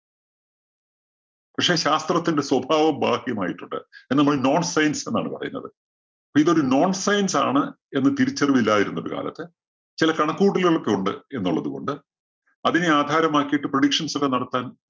പക്ഷേ ശാസ്ത്രത്തിന്റെ സ്വഭാവം ബാഹ്യമായിട്ടുണ്ട്. അതിന് നമ്മൾ non science എന്നാണ് പറയുന്നത്. ഇപ്പോ ഇതൊരു non science ആണ് എന്ന് തിരിച്ചറിവ് ഇല്ലാതിരുന്നൊരു കാലത്ത് ചില കണക്കുകൂട്ടലുകൾ ഒക്കെ ഉണ്ട് എന്നുള്ളതുകൊണ്ട് അതിനെ ആധാരമാക്കിയിട്ട് predictions ഒക്കെ നടത്താൻ